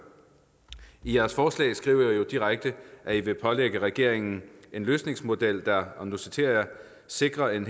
i jeres forslag skriver i jo direkte at i vil pålægge regeringen en løsningsmodel der og nu citerer jeg sikrer at den